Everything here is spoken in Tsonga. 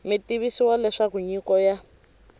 mi tivisiwa leswaku nyiko ya